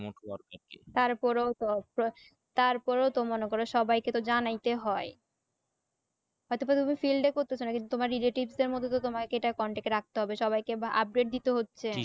তার পরে তো অর্থ তারপরেও তো সবাই কে তো জানাইতে হয় হয় তো প্রথমে field এ করতেসো নাকি যে তোমার relative দের মধ্যে দিয়ে তোমাকে এটা contact এ রাকতে হবে সবাই কে update দিতে হচ্ছে